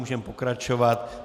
Můžeme pokračovat.